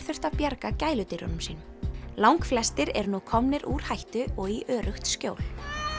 þurftu að bjarga gæludýrunum sínum langflestir eru nú komnir úr hættu og í öruggt skjól